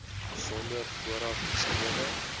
sonder vooraf geskrewe